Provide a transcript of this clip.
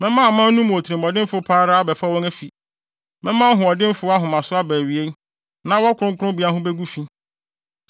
Mɛma aman no mu otirimɔdenfo pa ara abɛfa wɔn afi; mɛma ɔhoɔdenfo ahomaso aba awiei, na wɔn kronkrommea ho begu fi.